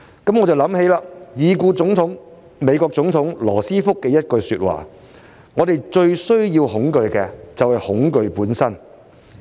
這不禁令我想起已故美國總統羅斯福的一句說話："我們最需要恐懼的，是恐懼本身"。